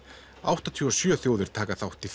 áttatíu og sjö þjóðir taka þátt í